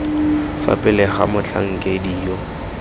fa pele ga motlhankedi yo